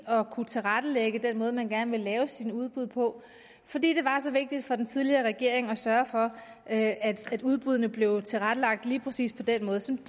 at kunne tilrettelægge den måde man gerne ville lave sine udbud på fordi det var så vigtigt for den tidligere regering at sørge for at at udbuddene blev tilrettelagt lige præcis på den måde som